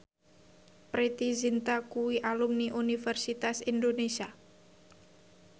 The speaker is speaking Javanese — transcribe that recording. Preity Zinta kuwi alumni Universitas Indonesia